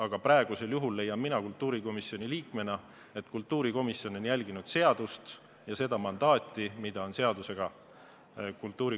Aga praegusel juhul leian mina kultuurikomisjoni liikmena, et kultuurikomisjon on järginud seadust ja seda mandaati, mis talle seadusega on antud.